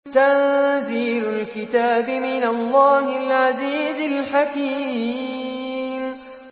تَنزِيلُ الْكِتَابِ مِنَ اللَّهِ الْعَزِيزِ الْحَكِيمِ